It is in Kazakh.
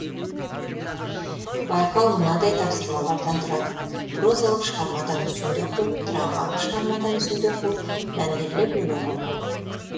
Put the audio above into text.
байқау мынадай тапсырмалардан тұрады прозалық шығармадан үзінді оқу драмалық шығармадан үзінді оқу мәнерлеп өлең оқу